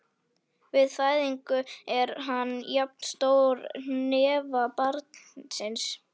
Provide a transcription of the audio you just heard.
Við fæðingu er hann jafn stór hnefa barnsins.